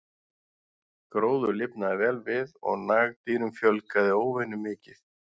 Gróður lifnaði vel við og nagdýrum fjölgaði óvenju mikið.